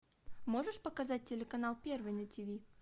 можешь показать телеканал первый на тв